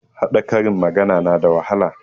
Haɗa karin magana na da wahala